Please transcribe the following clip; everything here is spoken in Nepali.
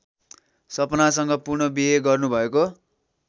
सपनासँग पुनःबिहे गर्नुभएको